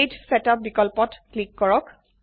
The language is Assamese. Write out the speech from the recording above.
পেজ ছেটআপ বিকল্পত ক্লিক কৰক